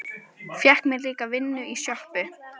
Fékk mér líka vinnu í sjoppu.